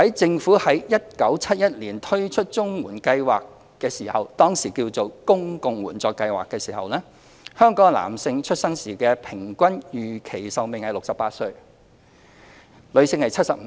政府在1971年推出綜援計劃時，當時稱為公共援助計劃，香港男性出生時的平均預期壽命為68歲，女性是75歲。